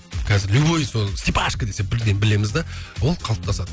қазір любойы сол степашка десе бірден білеміз де ол қалыптасады